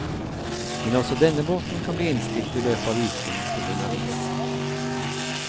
Men også denne båten kan bli innstilt i løpet av uken på grunn av is.